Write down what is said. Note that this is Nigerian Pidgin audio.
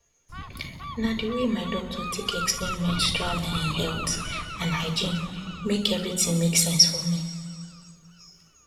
na the way my doctor take explain menstrual um health and hygiene make everything make sense for me